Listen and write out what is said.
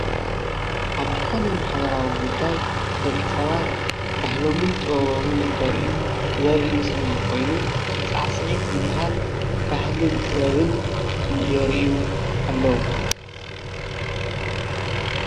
አብ ዝኮነ ማሕበራዊ ጉዳይ ደቂ ሰባት ባህሎምን ጥበቦምን እንተር'ዩ ዘርኢ ምስሊ ኮይኑ ሳዕስዒት ዝበሃል ባህልን ጥበብን የር'ዩ አለዉ።